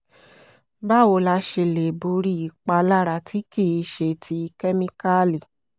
báwo la ṣe lè borí ìpalára tí kì í ṣe ti kemikali?